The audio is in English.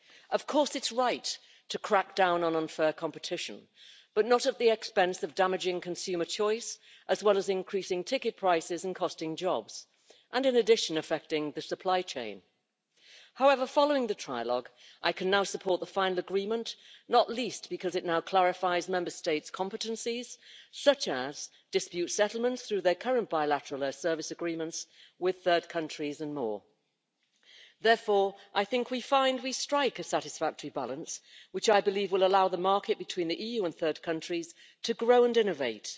Of course it's right to crack down on unfair competition but not at the expense of damaging consumer choice, increasing ticket prices and costing jobs, as well as affecting the supply chain. However, following the trilogue, I can now support the final agreement, not least because it clarifies Member States' competencies, for example on dispute settlements through their current bilateral air service agreements with third countries, and more. Therefore, I think we now strike a satisfactory balance, which I believe will allow the market between the EU and third countries to grow and innovate.